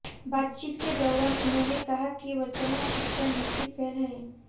बातचीत के दौरान उन्होंने कहा कि वर्तमान शिक्षा नीति फेल है